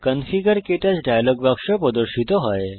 configure ক্টাচ dialog বাক্স প্রদর্শিত হয়